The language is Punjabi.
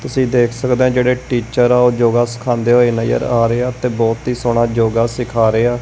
ਤੁਸੀ ਦੇਖ ਸਕਦੇ ਆ ਜਿਹੜੇ ਟੀਚਰ ਆ ਓਹ ਯੋਗਾ ਸਿਖਾਉਂਦੇ ਹੋਏ ਨਜ਼ਰ ਆ ਰਹੇ ਆ ਤੇ ਬਹੁਤ ਹੀ ਸੋਹਣਾ ਯੋਗਾ ਸਿਖਾ ਰਹੇ ਆ।